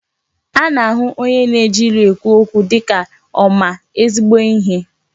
Ana-ahụ onye na-eji ilu ekwu okwu dịka ma ezigbo ihe.